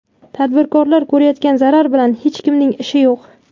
Tadbirkor ko‘rayotgan zarar bilan hech kimning ishi yo‘q.